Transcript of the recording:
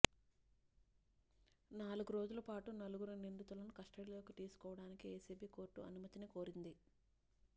నాలుగు రోజుల పాటు నలుగురు నిందితులను కస్టడీలోకి తీసుకోవడానికి ఏసీబీ కోర్టును అనుమతిని కోరింది